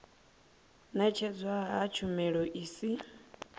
ṅetshedzwa ha tshumelo i si